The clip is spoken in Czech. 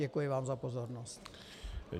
Děkuji vám za pozornost.